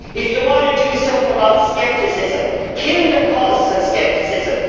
If you want to do something about scepticism, then kill the causes of scepticism.